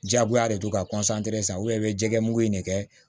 Jagoya de don ka san jɛmugu in de kɛ